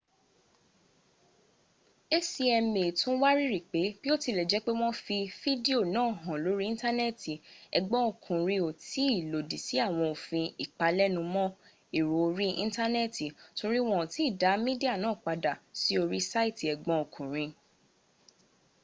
acma tun wariri pe biotilejepe won fi fidio naa han lori intaneeti egbon okunrin o tii lodi si awon ofin ipalenumo ero ori intaneeti tori won o ti da midia naa pada si ori saiti egbon okunrin